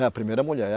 É, a primeira mulher.